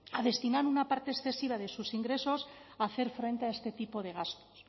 a destinar una parte excesiva de sus ingresos a hacer frente a este tipo de gastos